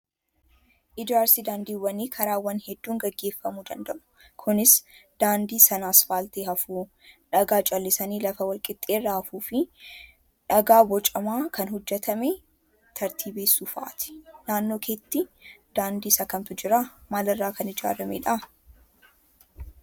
Ijaarsi daandiiwwanii karaawwan hedduun gaggeeffamuu danda'u. Kunis daandii sana asfaaltii hafuu, dhagaa callisanii lafa wal qixxaaterra hafuu fi dhagaa bocamaa kan hojjatame tartiibessuu fa'aati. Naannoo keetti daandii isa kamtu jiraa? Maal irraa kan ijaaramedhaa?